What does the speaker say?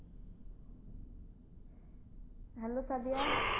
Hello Sadia